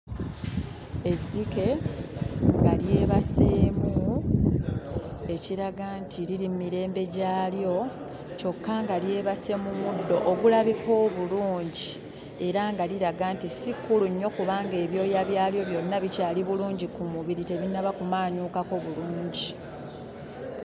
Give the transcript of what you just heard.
Ezzike nga lyebaseemu, ekiraga nti liri mu mirembe gyalyo, kyokka nga lyebase mu muddo ogulabika obulungi era nga liraga nti si kkulu nnyo kubanga ebyoya byalyo byonna bikyali bulungi ku mubiri, tebinnaba kumaanyuukako bulungi.